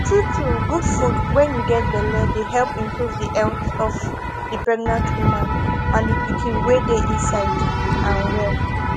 true true good food wen u get belle dey help improve the health of the pregnant woman and the pikiin wey dey inside am well